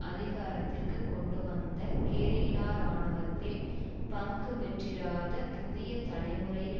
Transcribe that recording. அதிகாரத்திற்கு கொண்டுவந்த கெரில்லா இராணுவத்தில் பங்கு பெற்றிராத புதிய தலைமுறையில்